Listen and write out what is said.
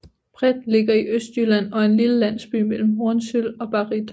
Breth ligger i Østjylland og er en lille landsby mellem Hornsyld og Barrit